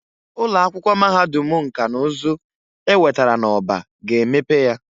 Ụloakwụkwọ Mahadum nka na uzu ewetara n'Orba ga emepe ya.